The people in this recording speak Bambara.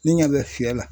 Ne ɲa bɛ fiyɛ la